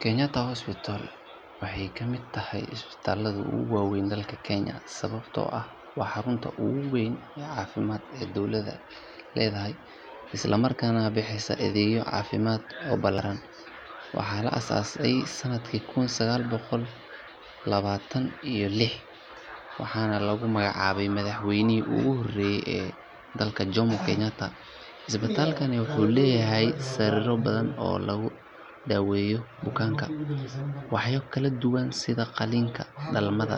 Kenyatta Hospital waxay ka mid tahay isbitaalada ugu weyn dalka Kenya sababtoo ah waa xarunta ugu weyn ee caafimaad ee dowladda leedahay isla markaana bixisa adeegyo caafimaad oo ballaaran. Waxaa la aasaasay sanadkii kun sagaal boqol labaatan iyo lix waxaana lagu magacaabay madaxweynihii ugu horreeyay ee dalka Jomo Kenyatta. Isbitaalkani wuxuu leeyahay sariiro badan oo lagu daweeyo bukaanka, waaxyo kala duwan sida qalliinka, dhalmada,